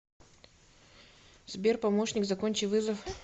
сбер помощник закончи вызов